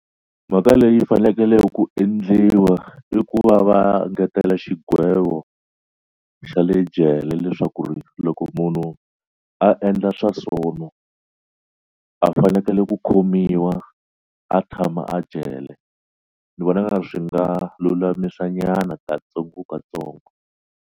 Mhaka leyi fanekele ku endliwa i ku va va ngetela xigwevo xa le jele leswaku ri loko munhu a endla swa swono a fanekele ku khomiwa a tshama a jele ni vona swi nga lulamisa nyana katsongokatsongo.